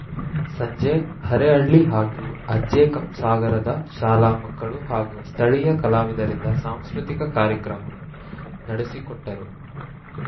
ಸಂಜೆ ಅರೇಹಳ್ಳಿ ಹಾಗೂ ಅಜ್ಜೆ ಕಂಸಾಗರದ ಶಾಲಾ ಮಕ್ಕಳು ಹಾಗೂ ಸ್ಥಳಿಯ ಕಲಾವಿದರಿಂದ ಸಾಂಸ್ಕೃತಿಕ ಕಾರ್ಯಕ್ರಮ ನಡೆಸಿಕೊಟ್ಟರು